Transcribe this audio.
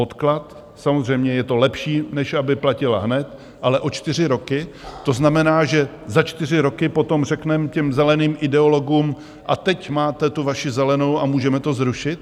Odklad - samozřejmě je to lepší, než aby platila hned, ale o čtyři roky, to znamená, že za čtyři roky potom řekneme těm zeleným ideologům, a teď máte tu vaši zelenou a můžeme to zrušit?